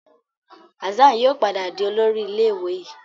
Hassan yíò padà dì Olórí ilé ìwé yí.